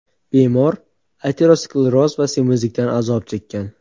Bemor ateroskleroz va semizlikdan azob chekkan.